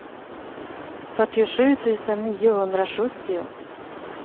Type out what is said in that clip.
fyrtiosju tusen niohundrasjuttio